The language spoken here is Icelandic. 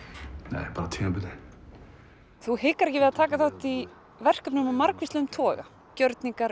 nei bara tímabundið þú hikar ekki við að taka þátt í verkefnum af margvíslegum toga gjörningar